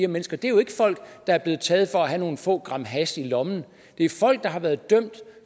mennesker det er jo ikke folk der er blevet taget for at have nogle få gram hash i lommen det er folk der har været dømt